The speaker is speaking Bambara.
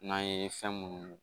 N'an ye fɛn munnu